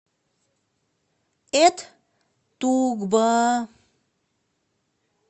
эт тукба